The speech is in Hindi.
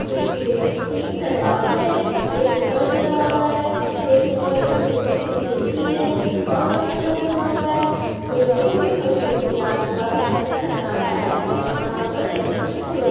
इसके तीन दरवाजे है एक ऊपर दरवाजा है एक ऊपर एक छोटी सी खिड़की है और कंस्ट्रक्ट हुआ वा है बिल्कुल ये मस्जिद के आस पास सुन सन्नाटा है। यहाँ पर मुस्लिमस लोग --